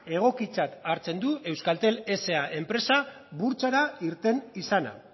egokitzat hartzen du euskaltel sa enpresa burtsara irten izana